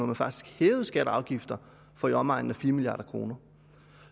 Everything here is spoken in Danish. man faktisk hævede skatter og afgifter for i omegnen af fire milliard kroner